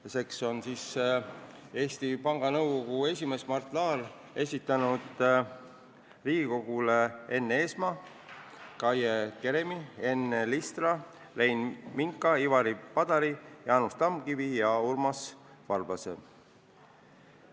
Tänaseks on Eesti Panga Nõukogu esimees Mart Laar esitanud Riigikogule ettepaneku nimetada nõukogu liikmeteks Enn Eesmaa, Kaie Keremi, Enn Listra, Rein Minka, Ivari Padari, Jaanus Tamkivi ja Urmas Varblase.